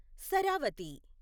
Sharavathi